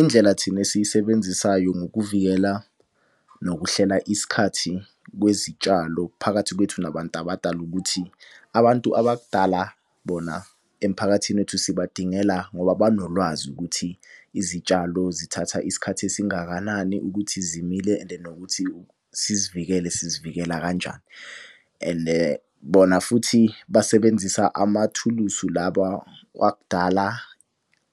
Indlela thina esiyisebenzisayo ngokuvikela nokuhlela isikhathi kwezitshalo phakathi kwethu nabantu abadala ukuthi abantu abakudala bona emphakathini wethu sibadingela ngoba banolwazi ukuthi izitshalo zithatha isikhathi esingakanani ukuthi zimile and nokuthi sizivikele sizivikela kanjani. And bona futhi basebenzisa amathulusi laba wakudala,